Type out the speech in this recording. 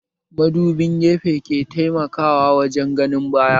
Madubin gefe ke taimaka wajen ganin baya